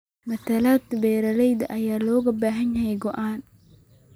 Metelaad beeralayda ayaa looga baahan yahay go'aannada.